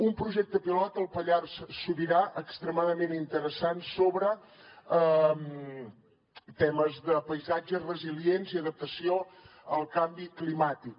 un projecte pilot al pallars sobirà extremadament interessant sobre temes de paisatges resilients i adaptació al canvi climàtic